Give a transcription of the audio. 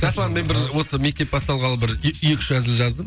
жасұлан мен бір осы мектеп басталғалы бір екі үш әзіл жаздым